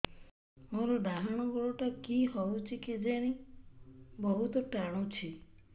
ମୋର୍ ଡାହାଣ୍ ଗୋଡ଼ଟା କି ହଉଚି କେଜାଣେ ବହୁତ୍ ଟାଣୁଛି